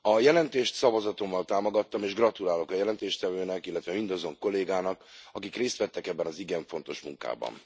A jelentést szavazatommal támogattam, és gratulálok a jelentéstevőnek, illetve mindazon kollégáknak, akik részt vettek ebben az igen fontos munkában.